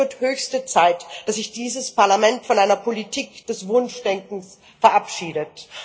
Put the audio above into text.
Es wird höchste Zeit, dass sich dieses Parlament von einer Politik des Wunschdenkens verabschiedet.